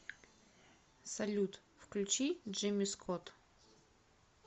салют включи джимми скот